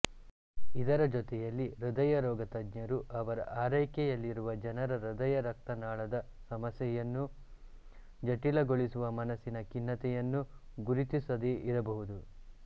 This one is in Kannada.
ಇದರ ಜೊತೆಯಲ್ಲಿ ಹೃದಯರೋಗ ತಜ್ಞರು ಅವರ ಆರೈಕೆಯಲ್ಲಿರುವ ಜನರ ಹೃದಯರಕ್ತನಾಳದ ಸಮಸ್ಯೆಯನ್ನು ಜಟಿಲಗೊಳಿಸುವ ಮನಸ್ಸಿನ ಖಿನ್ನತೆಯನ್ನು ಗುರುತಿಸದೇ ಇರಬಹುದು